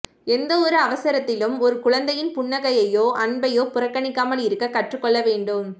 எந்த ஒரு அவசரத்திலும் ஒரு குழந்தையின் புன்னகையையோ அன்பையோ புறக்கணிக்காமல் இருக்க கற்றுக்கொள்ள வேண்டும்